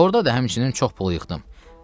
Orda da həmçinin çox pul yığdım.